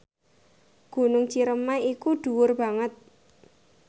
Gunung Ciremai iku dhuwur banget